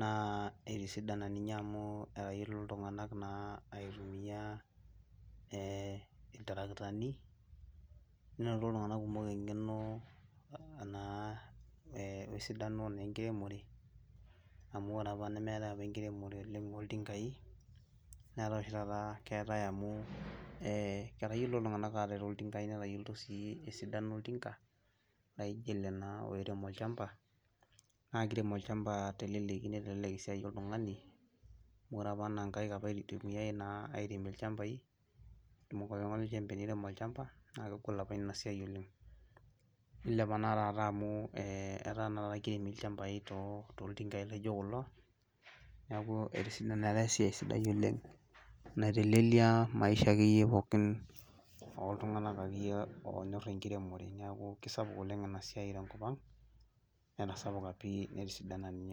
naa etisidana amuu etayiolito iltung'anak aitumia, eeh iltarakitani, enotito iltung; anak kumok eng'eno, wesidano naa enkiremore, amuu oore aapa nemeetae aapa enkiremore tenebo oltinkai, netaa oshi tata keetae amuu etayiolito iltung'anak atereu iltinkai netayiolito sii esidano oltinka, naijo eele na oirem olchamba, naa keirem olchamba teleleki neitelelek esiai oltung'ani, oore apa naa inkaik naa eitumiae airemie ilchambai, naa kegol aapa iina siai oleng. Iilepa na taata amuu etaa naa taata keiremi ilchambai toltinkai laijo kulo, niaku etisidana etaa esiai sidai oleng naitelelia maisha akeyie oltung'anak oltung'anak akeyie onyor enkiremore niaku kaisapuk oleng eena siai tenkop ang netasapuka pii netisidana ninye.